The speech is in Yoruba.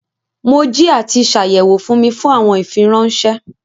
Mo jì àti ṣàyẹwò fún mi fún awọn ìfírànṣẹ.